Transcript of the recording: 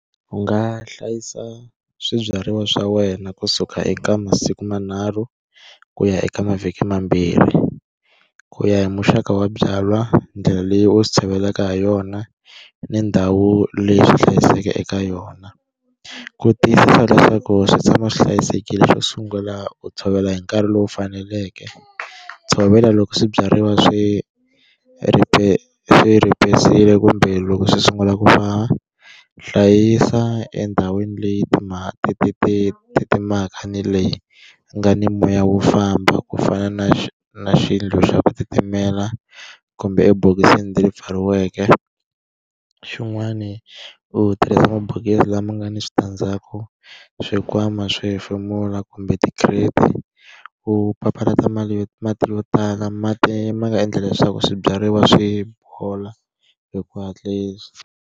U nga hlayisa swibyariwa swa wena kusuka eka masiku manharhu, ku ya eka mavhiki mambirhi, ku ya hi muxaka wa byalwa, ndlela leyi u swi cheletaka ha yona, ni ndhawu leyi u swi hlayiseke eka yona. Ku tiyisisa leswaku swi tshama swi hlayisekile xo sungula u tshovela hi nkarhi lowu faneleke. Tshovela loko swibyariwa swi swi kumbe loko swi sungula ku va. Hlayisa endhawini leyi titimelaka ni leyi ku nga ni moya wu famba, ku fana na na yindlo ya ku titimela kumbe emabokisini leyi pfariweke. Xin'wani u tirhisa mabokisi lama nga ni switandzhaku, swi nkwama swi hefemula kumbe ti-crate-i. U papalata yo mati yo tala mati ma nga endla leswaku swibyariwa swi bola hi ku hatlisa.